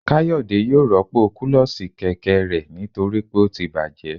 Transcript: Kayode yóò rọpo kulosí kẹkẹ rẹ nitori pe o tí bajé